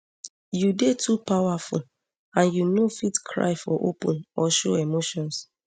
you dey too powerful and you no fit cry for open or show emotions